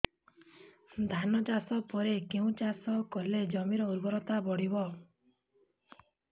ଧାନ ଚାଷ ପରେ କେଉଁ ଚାଷ କଲେ ଜମିର ଉର୍ବରତା ବଢିବ